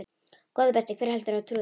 Góði besti, hver heldurðu að trúi þér?